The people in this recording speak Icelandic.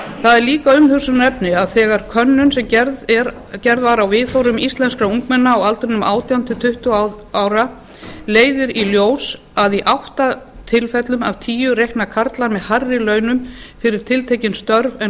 það er líka umhugsunarefni að þegar könnun sem gerð var á viðhorfum íslenskra ungmenna á aldrinum átján til tuttugu ára leiðir í ljós að í átta tilfellum af tíu reikna karlar með hærri launum fyrir tiltekin störf en